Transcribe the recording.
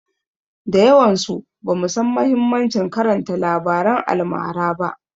Da yawansu bamu san mahimmancin karanta labaran almara ba.